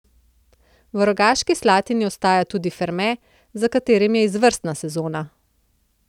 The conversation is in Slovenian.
V Rogaški Slatini ostaja tudi Ferme, za katerim je izvrstna sezona.